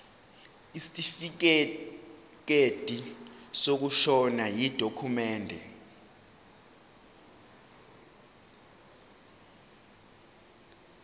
isitifikedi sokushona yidokhumende